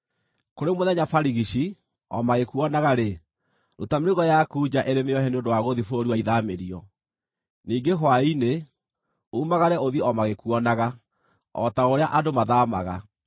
Kũrĩ mũthenya barigici, o magĩkuonaga-rĩ, ruta mĩrigo yaku nja ĩrĩ mĩohe nĩ ũndũ wa gũthiĩ bũrũri wa ithaamĩrio. Ningĩ hwaĩ-inĩ, umagare ũthiĩ o magĩkuonaga, o ta ũrĩa andũ mathaamaga.